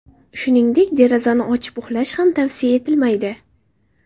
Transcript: Shuningdek, derazani ochib uxlash ham tavsiya etilmaydi.